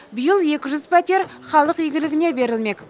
биыл екі жүз пәтер халық игілігіне берілмек